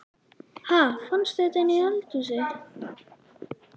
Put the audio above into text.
Ha! Fannstu þetta inni í eldhúsi?